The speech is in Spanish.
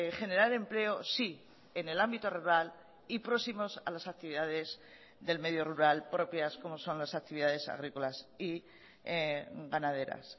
generar empleo sí en el ámbito rural y próximos a las actividades del medio rural propias como son las actividades agrícolas y ganaderas